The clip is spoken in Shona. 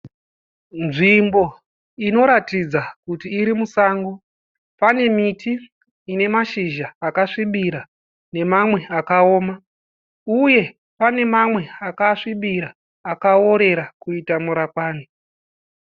Nzvimbo inoratidza kuti iri musango. Pane miti ine mashizha akasvibira nemamwe akaoma uye pane mamwe akasvibira akaworera kuita murakwani.